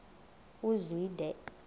uzwide